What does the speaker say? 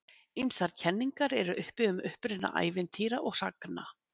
ýmsar kenningar eru uppi um uppruna ævintýra og sagna